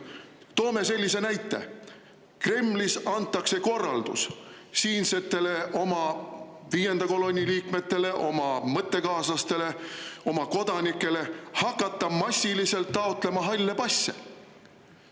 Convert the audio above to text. Toon sellise näite: Kremlist antakse korraldus siinsetele viienda kolonni liikmetele, oma mõttekaaslastele, oma kodanikele, hakata massiliselt taotlema halle passe.